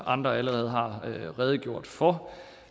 andre allerede har redegjort for